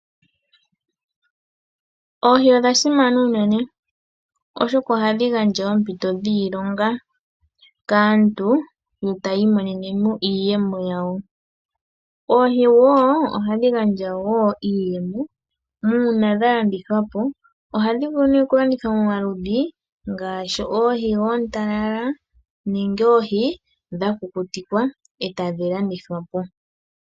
Oohi odha simana unene, oshoka ohadhi gandja oompito dhiilonga kaantu yo taya imonene mo iiyemo yawo. Oohi wo ohadhi gandja wo iiyemo uuna dha landithwa po. Ohadhi vulu okulandithwa momaludhi ngaashi oohi oontalala nenge oohi dha kukutikwa e tadhi landithwa po.